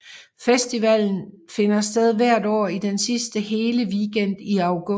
Festivalen finder sted hvert år i den sidste hele weekend i august